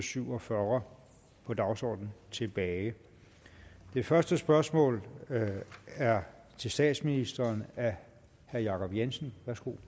syv og fyrre på dagsordenen tilbage det første spørgsmål er til statsministeren af herre jacob jensen